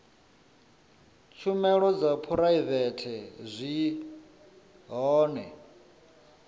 tshumelo dza phuraivete zwi hone